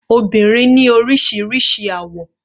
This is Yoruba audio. Obìnrin ni oríṣiríṣi àwọ̀.